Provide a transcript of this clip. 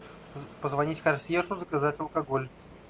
позвонить консьержу заказать алкоголь